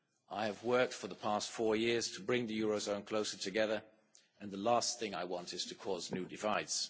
I have worked for the past four years to bring the eurozone closer together, and the last thing I want is to cause new divides.